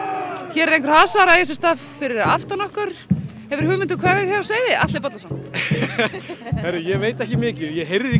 hér er einhver hasar að eiga sér stað fyrir aftan okkur hefurðu hugmynd um hvað er hér á seyði Atli Bollason heyrðu ég veit ekki mikið ég heyrði því